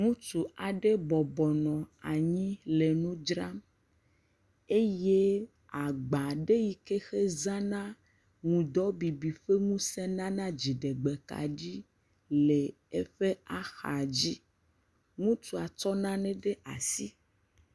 Ŋutsu aɖe bɔbɔ nɔ anyi le nu dzram. Eye agba aɖe yi ke hezãna ŋdɔbibi ƒe ŋusẽ nana dziɖegbekaɖi le eƒe axadzi. Ŋutsua tsɔ nane ɖe asi.